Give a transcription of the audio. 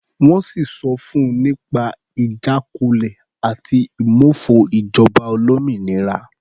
Wọ́n sì sọ fun nípa ìjákulẹ̀ àti ìmófo ìjọba olómìnira.